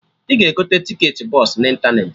Ị ga-egote tiketị bọsụ na ịntanetị